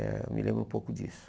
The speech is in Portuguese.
Eh eu me lembro um pouco disso.